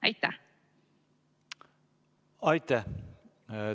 Aitäh!